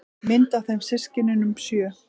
Mynd af þeim systkinunum sjö.